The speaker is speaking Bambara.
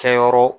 Kɛyɔrɔ